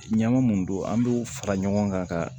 Ɲama mun don an b'o fara ɲɔgɔn kan ka